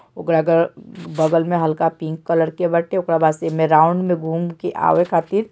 ओकरा क बगल में हल्का पिंक कलर के बाटे ओकरा बाद से ईमा राउंड में घूमके आवे खातिर --